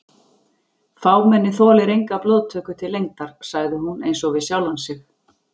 Fámennið þolir enga blóðtöku til lengdar sagði hún einsog við sjálfa sig.